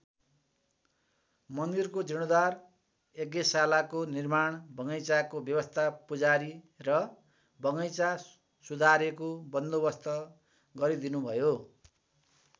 मन्दिरको जिर्णोद्धार यज्ञशालाको निर्माण बगैँचाको व्यवस्था पूजारी र बगैँचा सुधारेको बन्दोबस्त गरीदिनु भयो।